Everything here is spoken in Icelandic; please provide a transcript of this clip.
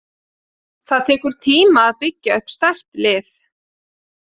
Það tekur tíma að byggja upp sterk lið.